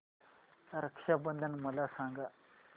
रक्षा बंधन मला सांगा